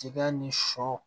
Tikɛ ni sɔ